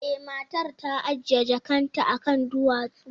E, matar ta ajiye jakarta akan duwatsu.